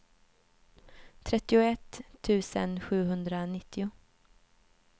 trettioett tusen sjuhundranittio